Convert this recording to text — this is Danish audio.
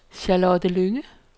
Charlotte Lynge